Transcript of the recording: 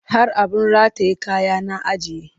Har abin rataye kaya na ajiye